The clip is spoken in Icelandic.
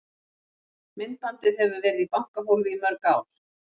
Myndbandið hefur verið í bankahólfi í mörg ár.